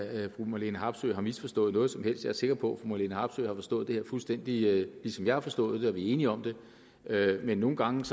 at fru marlene harpsøe har misforstået noget som helst jeg er sikker på at fru marlene harpsøe har forstået det her fuldstændig ligesom jeg har forstået det og at vi er enige om det men nogle gange